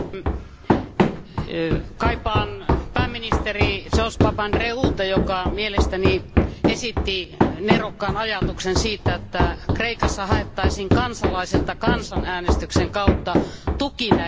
Kaipaan pääministeri George Papandreouta, joka mielestäni esitti nerokkaan ajatuksen siitä, että Kreikassa haettaisiin kansalaisilta kansanäänestyksen kautta tuki näille säästöille.